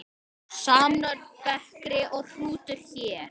Samnöfn bekri og hrútur hér.